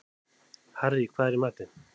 Harrý, hvað er í matinn?